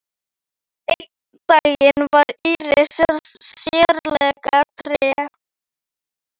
Einn daginn var Íris sérlega treg.